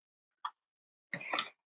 Ég er að þrotum kominn.